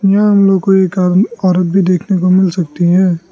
यहां हम लोग को एक आ औरत भी देखने को मिल सकती है।